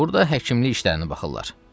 Burda həkimlik işlərinə baxırlar.